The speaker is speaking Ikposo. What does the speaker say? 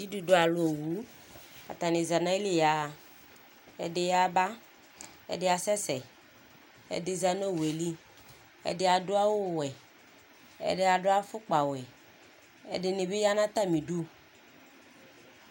Dzidudualu owu Atani aza nʋ ayili yaɣa Ɛdɩ yaba, ɛdɩ asɛsɛ, ɛdɩ za nʋ owu yɛ li, ɛdɩ adu awuwɛ, ɛdɩ adu afukpawɛ ɛdɩnɩ bɩ ya nʋ atamidu